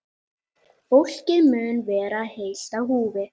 Fólkið mun vera heilt á húfi